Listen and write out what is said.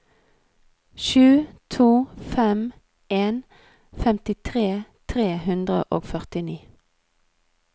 sju to fem en femtitre tre hundre og førtini